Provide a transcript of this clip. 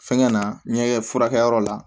Fɛngɛ na n ɲɛ furakɛyɔrɔ la